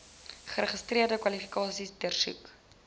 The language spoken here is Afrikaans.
geregistreerde kwalifikasies deursoek